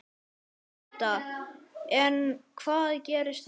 Edda: En hvað gerist þá?